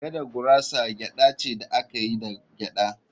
“Gada gurasa gyada ce da aka yi da gyada